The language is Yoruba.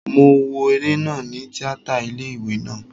Mo wo eré náà ni tíátà ilé ìwé naa